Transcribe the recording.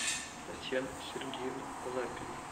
татьяну сергеевну лапину